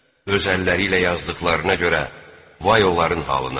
Öz əlləri ilə yazdıqlarına görə vay onların halına.